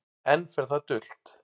Enn fer það dult